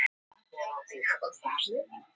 Ég geri það sama fyrir hann ef hann kemst ekki.